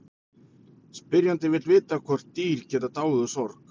Spyrjandi vill vita hvort dýr geti dáið úr sorg.